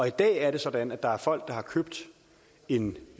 i dag er det sådan at der er folk der har købt en